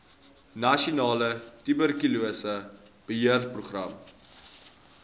nasionale tuberkulose beheerprogram